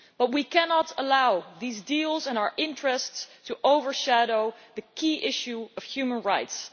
We cannot allow these deals and our interests to overshadow the key issue of human rights.